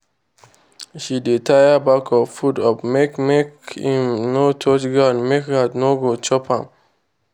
she dey tie bag of food up make make im no touch ground make rat no go chop am.